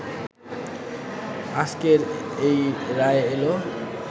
আজকের এই রায় এলো